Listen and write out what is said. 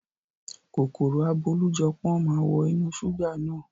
Kòkòrò abólújọpọ́n máa wọ inú ṣúgà náà.